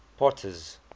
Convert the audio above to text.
potter's